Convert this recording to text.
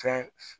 Fɛn